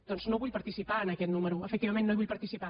doncs no vull participar en aquest número efectivament no hi vull participar